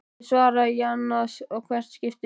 Ég svara í ann að hvert skipti.